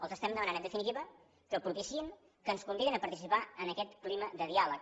els estem demanant en definitiva que propiciïn que ens convidin a participar en aquest clima de diàleg